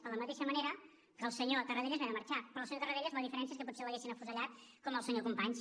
de la mateixa manera que el senyor tarradellas va haver de marxar però al senyor tarradellas la diferència és que potser l’haguessin afusellat com al senyor companys